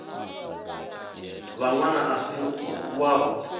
vha ṅwana a si wavho